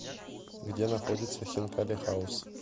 где находится хинкали хаус